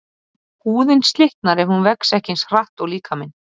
Húðin slitnar ef hún vex ekki eins hratt og líkaminn.